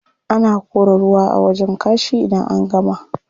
Ana kora ruwa a wajen kashi idan an gama.